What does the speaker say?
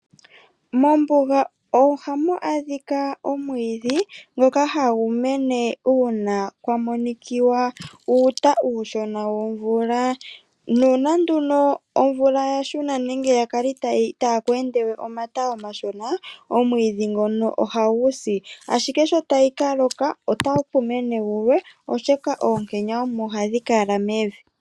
Mombuga ohamu adhikwa omwiidhi ngoka hagu mene uuna kwamonikiwa uuta uushona womvula. Uuna nduno omvula yashuna nenge yakala itaa kweendewe omata omashona, omwiidhi ngono ohagu si, ashike sho tayi kaloka otaku mene gulwe, oshoka oonkenya omo hadhi kala mevi.